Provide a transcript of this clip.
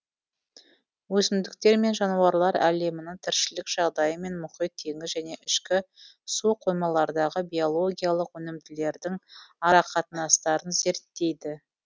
өсімдіктер мен жануарлар әлемінің тіршілік жағдайы мен мұхит теңіз және ішкі суқоймалардағы биологиялық өнімділіктердің арақатынастарын зерттейді